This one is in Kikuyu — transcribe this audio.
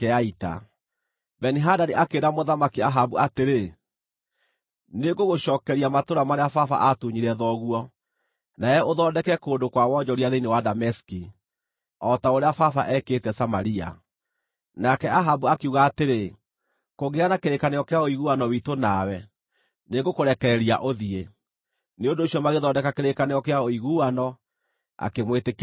Beni-Hadadi akĩĩra Mũthamaki Ahabu atĩrĩ, “Nĩngũgũcookeria matũũra marĩa baba aatunyire thoguo, nawe ũthondeke kũndũ kwa wonjoria thĩinĩ wa Dameski, o ta ũrĩa baba eekĩte Samaria.” Nake Ahabu akiuga atĩrĩ, “Kũngĩgĩa na kĩrĩkanĩro kĩa ũiguano witũ nawe, nĩngũrekereria ũthiĩ.” Nĩ ũndũ ũcio magĩthondeka kĩrĩkanĩro kĩa ũiguano, akĩmwĩtĩkĩria athiĩ.